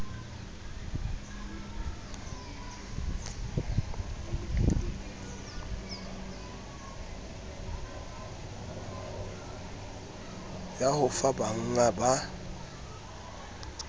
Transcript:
ya ho fa bangga ba